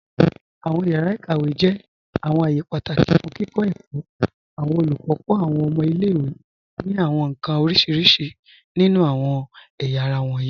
Awọn yàra ikàwé jẹ́ awọn ààyè pátákì fún kíkọ èkó. Awọn olùkọ kọ awọn ọ̀mọ̀ ilẹ̀-ìwé ni awọn nkan orísíríṣí nínu awọn ẹ̀yàra wọnyí.